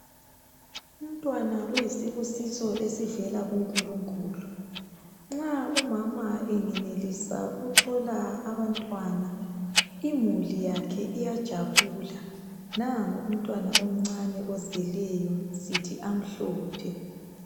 Umntwana uyisibusiso esivela kunkulunkulu nxa umama engenelisa ukuthola abantwana imuli yakhe iyajabula nango umntwana omncane ozelweyo sithi amhlophe.